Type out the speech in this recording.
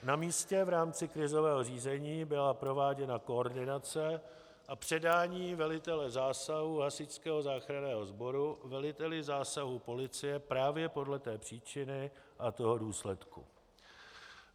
Na místě v rámci krizového řízení byla prováděna koordinace a předání velitele zásahu Hasičského záchranného sboru veliteli zásahu policie právě podle té příčiny a toho důsledku.